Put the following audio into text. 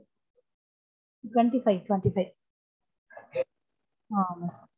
twenty five, twenty five